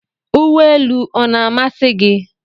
Uwe elu ọ na-amasị gị?